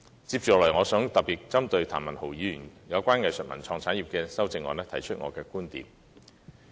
接下來，我想特別針對譚文豪議員關於藝術文創產業的修正案提出我的觀點。